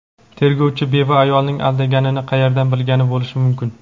tergovchi beva ayolning aldaganini qayerdan bilgan bo‘lishi mumkin?.